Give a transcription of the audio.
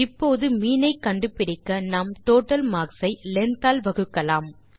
இப்போது மீன் ஐ கண்டு பிடிக்க நாம் டோட்டல்மார்க்ஸ் ஐ லெங்த் ஆல் வகுக்கலாம்